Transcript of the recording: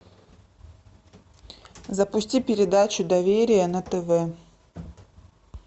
запусти передачу доверие на тв